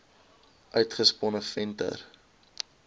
uitgesponne venter l